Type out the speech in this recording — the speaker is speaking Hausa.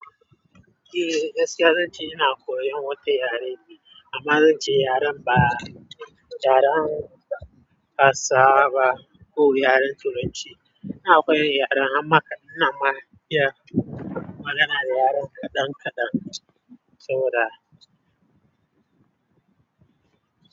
Eh, gaskiyar zance ina koyan wata yare ne amma zance yaren ba yaren hausawa ba ko yaren Turanci. Ina koyan yaren amma kadan amma iya magana da yaren kaɗan kaɗan, saboda.